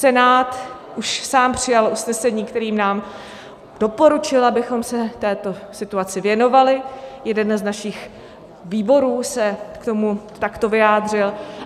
Senát už sám přijal usnesení, kterým nám doporučil, abychom se této situaci věnovali, jeden z našich výborů se k tomu takto vyjádřil.